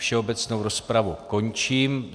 Všeobecnou rozpravu končím.